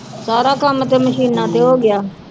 ਸਾਰਾ ਕੰਮ ਤੇ ਮਸ਼ੀਨਾਂ ਤੇ ਹੋ ਗਿਆ